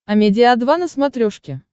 амедиа два на смотрешке